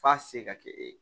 F'a se ka kɛ e ye